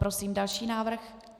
Prosím další návrh.